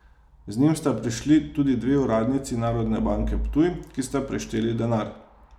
Z njim sta prišli tudi dve uradnici Narodne banke Ptuj, ki sta prešteli denar.